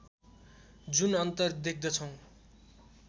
जुन अन्तर देख्दछौँ